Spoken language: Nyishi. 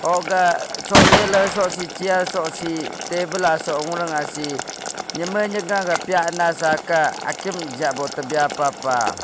hogah sole ley soh se chair soh seh table ahii neymi neyga pyana sa seh akim tapa pah.